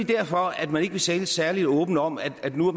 derfor at man ikke vil tale særlig åbent om at man nu